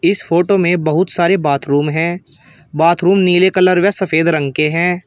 इस फोटो में बहुत सारे बाथरूम है बाथरूम नीले कलर और सफेद रंग के हैं।